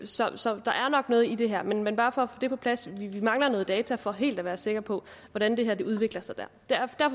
så så der er nok noget i det her men men bare for at det på plads vi mangler noget data for helt at være sikker på hvordan det her udvikler sig og derfor